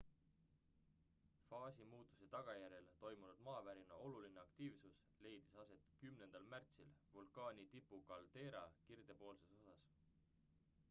faasimuutuse tagajärjel toimunud maavärina oluline aktiivsus leidis aset 10 märtsil vulkaani tipu kaldeera kirdepoolses osas